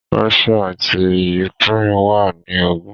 Ráshíà àti Yukrèen wà ní ogùn